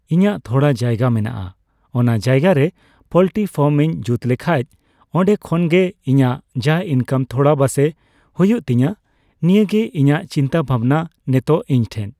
ᱤᱧᱟᱹᱜ ᱛᱷᱚᱲᱟ ᱡᱟᱭᱜᱟ ᱢᱮᱱᱟᱜᱼᱟ ᱚᱱᱟ ᱡᱟᱭᱜᱟᱨᱮ ᱯᱚᱞᱴᱨᱤ ᱯᱷᱟᱨᱢ ᱤᱧ ᱡᱩᱛᱞᱮᱠᱷᱟᱡ ᱚᱸᱰᱮᱠᱷᱚᱡᱜᱤ ᱤᱧᱟᱜ ᱡᱟ ᱤᱱᱠᱟᱢ ᱛᱷᱚᱲᱟ ᱵᱟᱥᱮᱜ ᱦᱩᱭᱩᱜ ᱛᱤᱧᱟ ᱱᱤᱭᱟᱹᱜᱤ ᱤᱧᱟᱜ ᱪᱤᱱᱛᱟ ᱵᱷᱟᱵᱱᱟ ᱱᱮᱛᱚᱜ ᱤᱧᱴᱷᱮᱡ